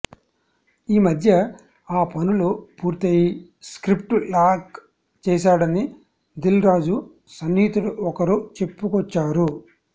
ఈమధ్య ఆ పనులు పూర్తయి స్క్రిప్ట్ లాక్ చేశాడని దిల్ రాజు సన్నిహితుడు ఒకరు చెప్పుకొచ్చారు